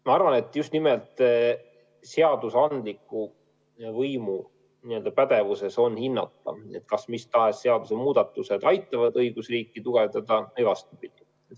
Ma arvan, et just nimelt seadusandliku võimu pädevuses on hinnata, kas mis tahes seadusemuudatused aitavad õigusriiki tugevdada või vastupidi.